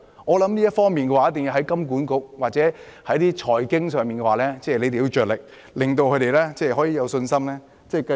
我認為這方面一定要從金融管理局或財經範疇着手，令他們可以有信心這樣做。